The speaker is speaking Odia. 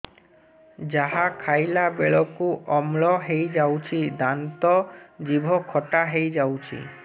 ଯାହା ଖାଇଲା ବେଳକୁ ଅମ୍ଳ ହେଇଯାଉଛି ଦାନ୍ତ ଜିଭ ଖଟା ହେଇଯାଉଛି